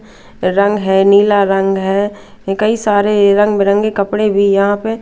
रंग है नीला रंग है कई सारे रंग बिरंगे कपड़े भी यहां पे--